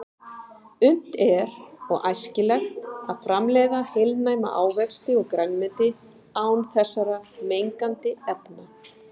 Unnt er og æskilegt að framleiða heilnæma ávexti og grænmeti án þessara mengandi efna.